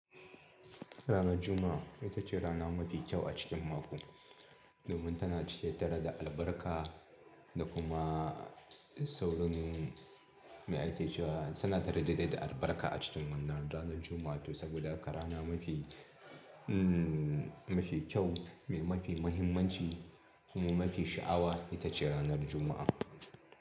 Ranar Juma'a ita ce rana mafi kyau a cikin mako. Domin tana cike da albarka da kuma saurin mai ake cewa suna tare dai da albarka a cikin wannan ranar Juma'a. To saboda haka rana mafi, mm, mafi kyau mai mafi mahimmanci kuma mafi sha'awa ita ce ranar Juma'a.